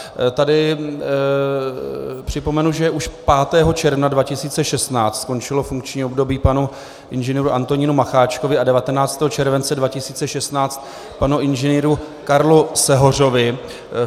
Tady připomenu, že už 5. června 2016 skončilo funkční období panu Ing. Antonínu Macháčkovi a 19. července 2016 panu Ing. Karlovi Sehořovi.